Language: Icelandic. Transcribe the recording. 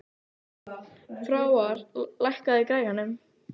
Frár, lækkaðu í græjunum.